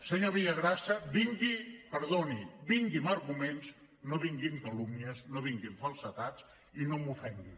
senyor villagrasa vingui perdoni amb arguments no vingui amb calúmnies no vingui amb falsedats i no m’ofengui